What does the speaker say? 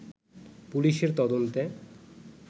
পুলিশের তদন্তে